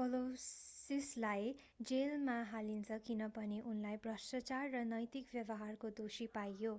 कलौसिसलाई जेलमा हालिन्छ किनभने उनलाई भ्रष्टाचार र नैतिक व्यवहारको दोषी पाइयो